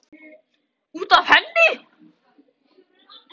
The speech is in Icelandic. Út af henni!